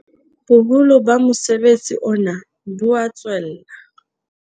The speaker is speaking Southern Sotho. Boholo ba mosebetsi ona bo a tswella.